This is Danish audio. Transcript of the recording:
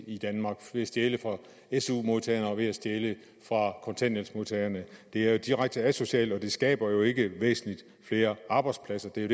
i danmark ved at stjæle fra su modtagerne og ved at stjæle fra kontanthjælpsmodtagerne det er jo direkte asocialt og det skaber jo ikke væsentlig flere arbejdspladser det er